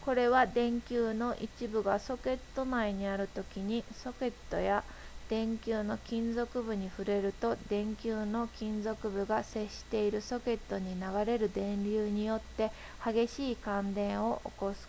これは電球の一部がソケット内にあるときにソケットや電球の金属部に触れると電球の金属部が接しているソケットに流れる電流によって激しい感電を起こす